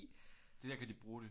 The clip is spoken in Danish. Der kan de bruge det